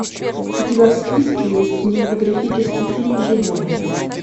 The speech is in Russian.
у тебя в списке есть кинематографический фильм живое